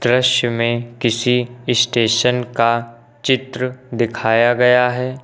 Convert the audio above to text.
दृश्य में किसी स्टेशन का चित्र दिखाया गया है।